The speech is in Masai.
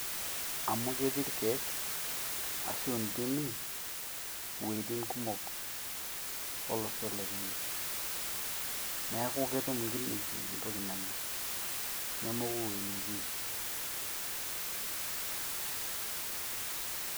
amu ketii irkiek ashu ntimi iwuetin kumok olosho le kenya niaku ketum inkineji entoki nanya nemoku ewuei netii